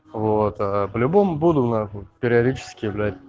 вот по-любому буду на хуй периодически блять